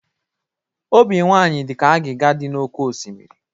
Obi nwanyị dị ka agịga dị n'oké osimiri.